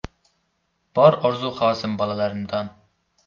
Bor orzu-havasim bolalarimdan.